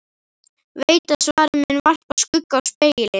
Veit að svarið mun varpa skugga á spegilinn.